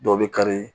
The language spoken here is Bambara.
Dɔw bɛ kari